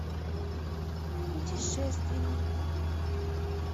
путешественник